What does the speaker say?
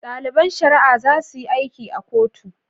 Daliban shari'a zasuyi aiki a kotu